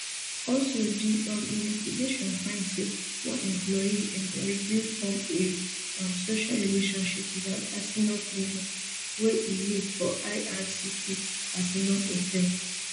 also di um investigation find say one employee employee bin form a um social relationship wit an asylum claimant wey e meet for ircc asylum hotel